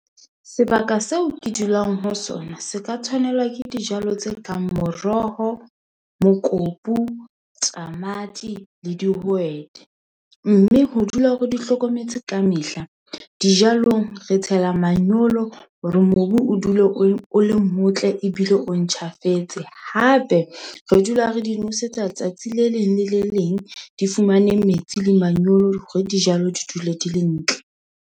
Sebaka seo ke dulang ho sona se ka tshwanelwa ke dijalo tse kang moroho, mokopu, tamati le dihwete. Mme ho dula re di hlokometse ka mehla. Dijalong re tshela manyolo hore mobu o dule o le motle ebile o ntjhafetse. Hape re dula re di nosetsa tsatsi le leng le le leng di fumane metsi le manyolo hore dijalo di dule di le ntle.